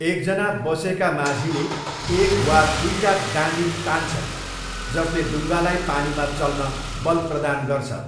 एकजना बसेका माझीले एक वा दुइटा डाँडी तान्छन्, जसले डुङ्गालाई पानीमा चल्न बल प्रदान गर्छ।